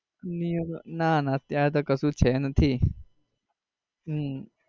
new year ના ના અત્યારે તો કશુ છે નથી.